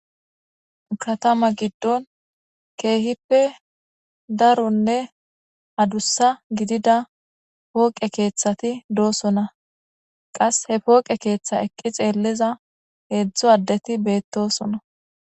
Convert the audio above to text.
Katama giddon keehippe daronnr adussa giddida poqe keeththati doson.qassi he poqe keeththa eqqi xeelida hedzdzu addeti beettoson.